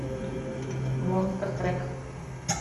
монстр трак